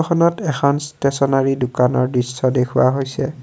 খনত এখান ষ্টেশ্যনেৰী দোকানৰ দৃশ্য দেখুওৱা হৈছে।